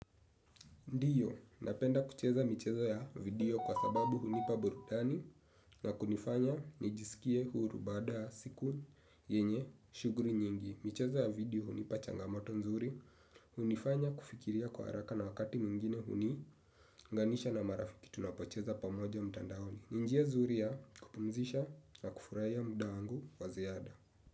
Ndio, napenda kucheza michezo ya video kwa sababu hunipa burudani na kunifanya nijisikie huru baada ya siku yenye shughuli nyingi. Michezo ya video hunipa changamoto nzuri, hunifanya kufikiria kwa haraka na wakati mwingine huniunganisha na marafiki tunapocheza pamoja mtandaoni. Njia nzuri ya kupumzisha na kufurahia muda wangu wa ziada.